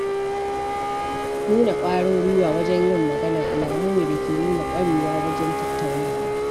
Nuna ƙwarin guiwa wajen yin magana alamu ne dake nuna ƙwarewa wajen tattaunawa.